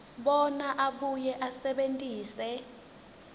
bona abuye asebentise